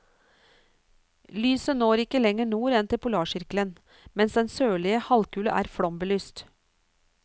Lyset når ikke lenger nord enn til polarsirkelen, mens den sørlige halvkule er flombelyst.